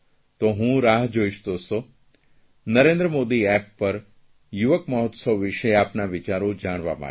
તો હું રાહ જોઇશ દોસ્તો નરેન્દ્ર મોદી એપ પર યુવક મહોત્સવ વિષે આપના વિચારો જાણવા માટે